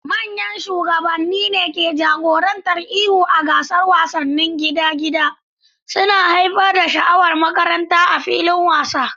Manyan shugabanni ne ke jagorantar ihu a gasar wasanni ta gida-gida, suna haifar da sha'awar makaranta a filin wasa.